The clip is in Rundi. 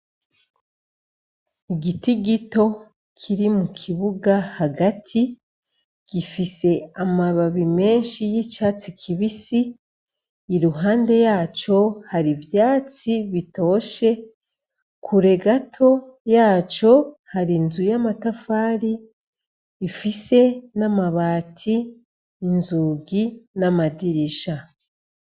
Igiti gito, kiri mukibuga hagati, gifise amababi menshi y'icatsi kibisi, iruhande yaco hari ivyatsi bitoshe, kure gato yaco, hari inzu y'amatafari ifise n'amabati, inzugi n'amadirisha,